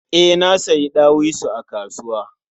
E, nasiyi ɗawisu a kasuwa.